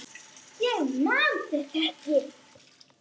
Ég man þetta ekki.